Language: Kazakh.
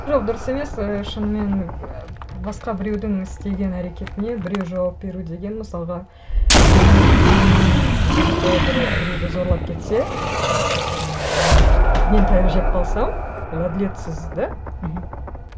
жоқ дұрыс емес і шынымен і басқа біреудің істеген әрекетіне біреу жауап беру деген мысалға менің руымның жігіті біреуді зорлап кетсе і жаңағы мен таяқ жеп қалсам ол әділетсіз да мхм